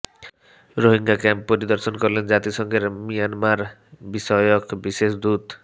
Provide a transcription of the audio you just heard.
Rohingya camp পরিদর্শন করলেন জাতিসংঘের মিয়ানমার বিষয়ক বিশেষ দূত